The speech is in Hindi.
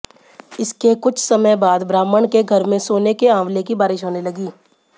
इसके कुछ समय बाद ब्राह्मण के घर में सोने के आंवले की बारिश होने लगी